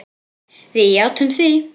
Við játtum því.